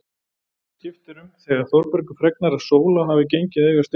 En það skiptir um þegar Þórbergur fregnar að Sóla hafi gengið að eiga Steindór.